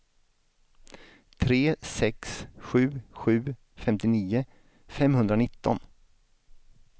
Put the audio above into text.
tre sex sju sju femtionio femhundranitton